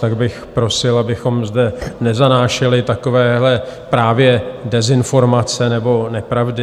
Tak bych prosil, abychom zde nezanášeli takovéhle právě dezinformace nebo nepravdy.